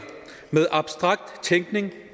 med abstrakt tænkning med